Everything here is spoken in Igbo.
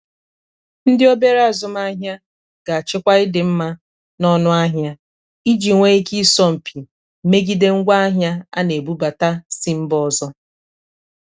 ndị obere azụmahịa ga-achịkwa ịdịmma na ọnụahịa iji nwee ike ịsọ mpị megide ngwaahịa a na-ebubata si mba ọzọ.